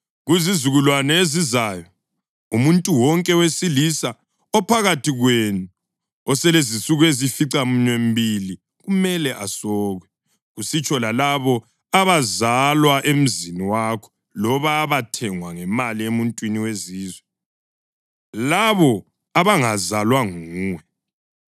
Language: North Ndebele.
Kuzizukulwane ezizayo umuntu wonke wesilisa ophakathi kwenu oselezinsuku eziyisificaminwembili kumele asokwe, kusitsho lalabo abazalwa emzini wakho loba abathengwa ngemali emuntwini wezizwe, labo abangazalwa nguwe.